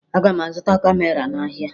Aga m azụta kamera n'ahịa